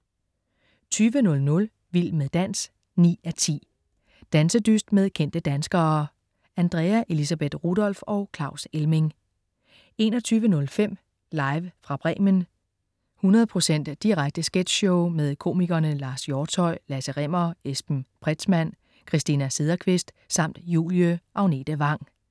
20.00 Vild med dans 9:10. Dansedyst med kendte danskere. Andrea Elisabeth Rudolph og Claus Elming 21.05 Live fra Bremen. 100 procent direkte sketchshow med komikerne Lars Hjortshøj, Lasse Rimmer, Esben Pretzmann, Christina Sederqvist samt Julie Agnete Vang